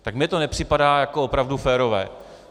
Tak mně to nepřipadá jako opravdu férové.